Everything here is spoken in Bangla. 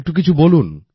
একটু কিছু বলুন